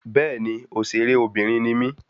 Béèni òṣèré Obìnrin ni mí